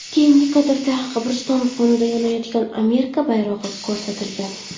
Keyingi kadrda qabriston fonida yonayotgan Amerika bayrog‘i ko‘rsatilgan.